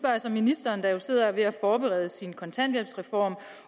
jeg så ministeren der jo sidder og er ved at forberede sin kontanthjælpsreform